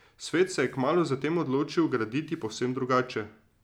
Svet se je kmalu zatem odločil graditi povsem drugače.